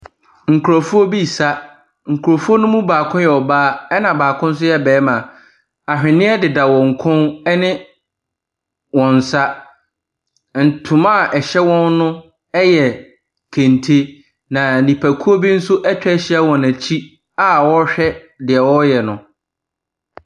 Nkrɔfoɔ bi resa. Nkrɔfoɔ no mu baako yɛ ɔbaa na baako nso yɛ barima. Ahweneɛ deda wɔn koom ne wɔn nsa. Ntoma a ɛhyɛ wɔn no yɛ kente. Na nnipakuo bi nso atwa ahyia wɔn akyi a wɔrehwɛ deɛ wɔreyɛ no.